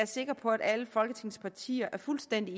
sikker på at alle folketingets partier er fuldstændig